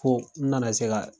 Fo n nana se ka